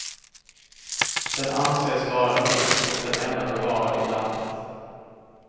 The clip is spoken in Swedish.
Den anses vara unik och den enda bevarade i landet.